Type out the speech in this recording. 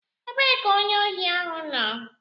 Ebee ka onye ohi ahụ nọ?